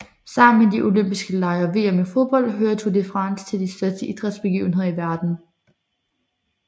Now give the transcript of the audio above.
Sammen med De Olympiske Lege og VM i fodbold hører Tour de France til de største idrætsbegivenheder i verden